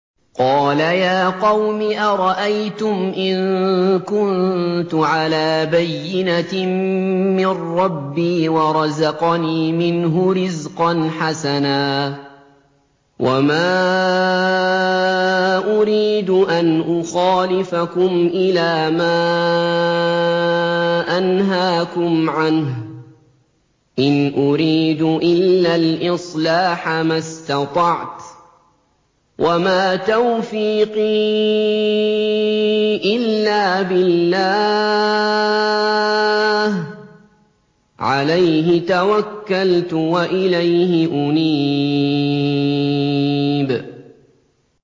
قَالَ يَا قَوْمِ أَرَأَيْتُمْ إِن كُنتُ عَلَىٰ بَيِّنَةٍ مِّن رَّبِّي وَرَزَقَنِي مِنْهُ رِزْقًا حَسَنًا ۚ وَمَا أُرِيدُ أَنْ أُخَالِفَكُمْ إِلَىٰ مَا أَنْهَاكُمْ عَنْهُ ۚ إِنْ أُرِيدُ إِلَّا الْإِصْلَاحَ مَا اسْتَطَعْتُ ۚ وَمَا تَوْفِيقِي إِلَّا بِاللَّهِ ۚ عَلَيْهِ تَوَكَّلْتُ وَإِلَيْهِ أُنِيبُ